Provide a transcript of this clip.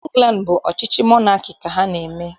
Ịngland bụ ọchịchị monaki ka ha na-eme